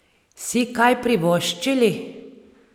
Si kaj privoščili?